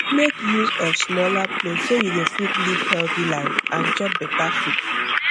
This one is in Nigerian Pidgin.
make use of smaller plate so you go fit live healthy life and chop beta food